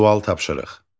Sual tapşırıq.